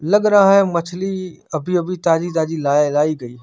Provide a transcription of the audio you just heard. लग रहा है मछली अभी अभी ताज़ी ताज़ी लायी गई है।